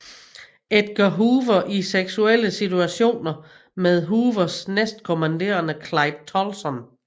Edgar Hoover i seksuelle situationer med Hoovers næstkommanderende Clyde Tolson